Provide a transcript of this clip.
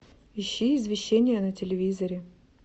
ищи извещение на телевизоре